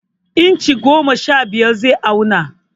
Inchi goma sha biyar zai auna.